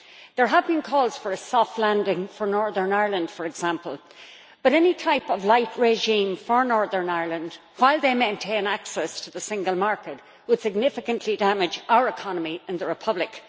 There have been calls for a soft landing for Northern Ireland, for example, but any type of light regime for Northern Ireland while they maintain access to the single market would significantly damage our economy in the Republic.